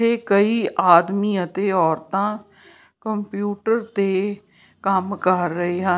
ਤੇ ਕਈ ਆਦਮੀ ਅਤੇ ਔਰਤਾਂ ਕੰਪਿਊਟਰ ਤੇ ਕੰਮ ਕਰ ਰਹੇ ਹਨ।